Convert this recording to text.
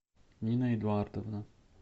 нина эдуардовна